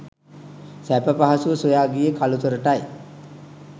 සැප පහසුව සොයා ගියේ කළුතරටයි